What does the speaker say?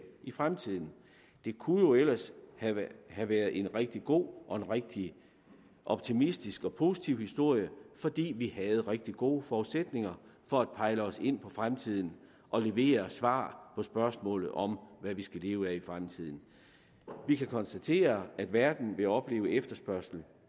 i fremtiden det kunne jo ellers have have været en rigtig god og en rigtig optimistisk og positiv historie fordi vi havde rigtig gode forudsætninger for at pejle os ind på fremtiden og levere svar på spørgsmålet om hvad vi skal leve af i fremtiden vi kan konstatere at verden vil opleve efterspørgsel